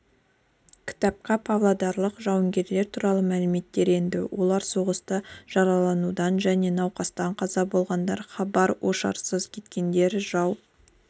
кітапқа павлодарлық жауынгерлер туралы мәліметтер енді олар соғыста жараланудан және науқастан қаза болғандар хабар-ошарсыз кеткендер жау